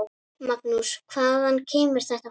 Magnús: Hvaðan kemur þetta fólk?